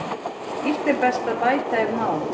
Illt er best að bæta ef má.